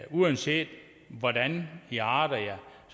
uanset hvordan i arter jer